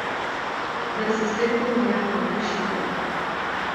Zdaj se spet ponuja kot rešitelj.